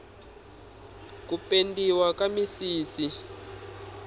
ku pendiwa ka misisi